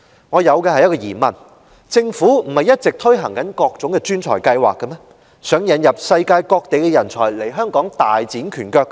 我有一個疑問，政府不是一直推動各種專才計劃，希望引入世界各地人才來港大展拳腳的嗎？